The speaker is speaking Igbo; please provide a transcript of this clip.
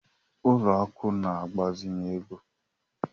Ụlọ akụ̀ na-agbazinye ego.